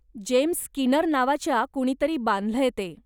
James Skinner नावाच्या कुणीतरी बांधलय ते.